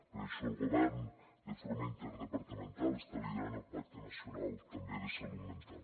per això el govern de forma interdepartamental està liderant el pacte nacional també de salut mental